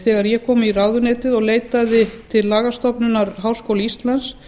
þegar ég kom í ráðuneytið og leitaði til lagastofnunar háskóla íslands